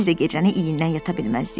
Biz də gecəni iyindən yata bilməzdik.